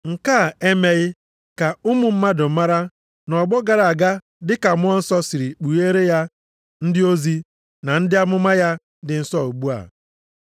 Nke a e meghị ka ụmụ mmadụ mara nʼọgbọ gara aga dị ka Mmụọ Nsọ siri kpugheere ya ndị ozi na ndị amụma ya dị nsọ ugbu a.